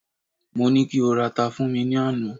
mo ni ko rara fún mi ni Ana